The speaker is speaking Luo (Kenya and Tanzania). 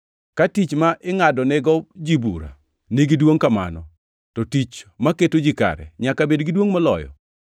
Ka tich ma ingʼadonego ji bura nigi duongʼ kamano, to tich, maketo ji kare, nyaka bed gi duongʼ moloyo!